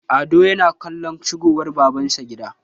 ado yana kallon shigowar babansa gida